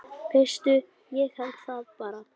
Veistu, ég held það bara.